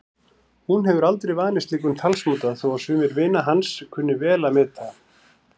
Hún hefur aldrei vanist slíkum talsmáta þó að sumir vinir hans kunni vel að meta.